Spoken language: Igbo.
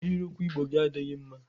Ahịrịokwu Igbo gị adịghị mma!